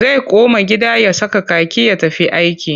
Zai koma gida ya saka kaki ya tafi aiki.